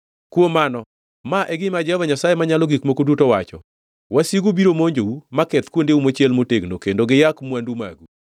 Kuom mano, ma e gima Jehova Nyasaye Manyalo Gik Moko Duto wacho: “Wasigu biro monjou maketh kuondeu mochiel motegno, kendo giyak mwandu magu.”